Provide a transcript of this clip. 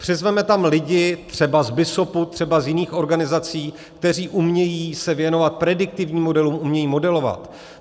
Přizvěme tam lidi - třeba z BISOP, třeba z jiných organizací - kteří umějí se věnovat prediktivním modelům, umějí modelovat.